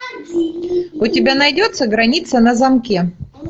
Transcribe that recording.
у тебя найдется граница на замке